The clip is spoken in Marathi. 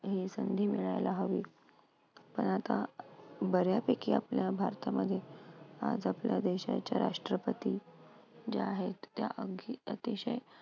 ही संधी मिळायला हवी पण आता बऱ्यापैकी आपल्या भारतामध्ये आज आपल्या देशाचे राष्ट्रपती जे आहेत ते अगदी अतिशय